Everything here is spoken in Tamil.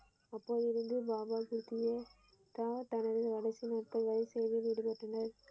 அப்போது இருந்து பாபா தனது கடைசி நாட்கள் வரை சேவையில் ஈடுபட்டனார்.